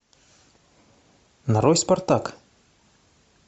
нарой спартак